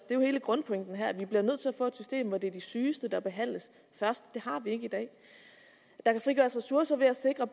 det er jo hele grundpointen her nemlig at vi bliver nødt til at få et system efter hvilket de sygeste behandles først det har vi ikke i dag der kan frigøres ressourcer ved at sikre